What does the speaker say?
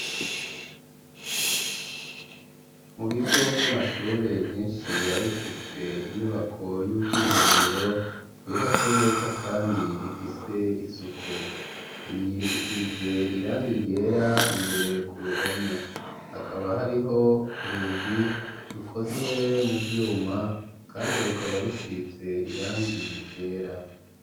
Mu bigo vy'amashure vyishi biba bifise inyubako y'ubwiherero yubatse neza kandi ifise isuku iyi isize irangi ryera imbere ku ruhome hakaba hariho urugi rukozwe mu vyuma kandi rukaba rusize irangi ryera.